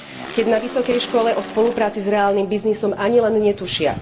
Keď na vysokej škole o spolupráci s reálnym biznisom ani len netušia.